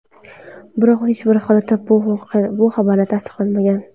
Biroq hech bir holatda bu xabarlar tasdiqlanmagan.